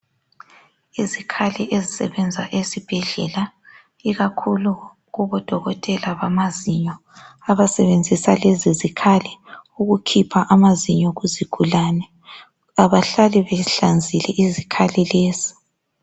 Izikhali ezisebenza esibhedlela ikakhulu kubodokotela bamazinyo abasebenzisa lezi zikhali ukukhipha amazinyo kuzigulane. Abahlali behlanzile izikhali lezi.